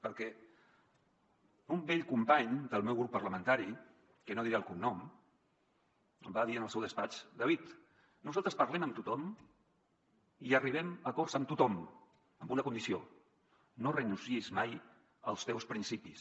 perquè un vell company del meu grup parlamentari que no en diré el cognom em va dir en el seu despatx david nosaltres parlem amb tothom i arribem a acords amb tothom amb una condició no renunciïs mai als teus princi·pis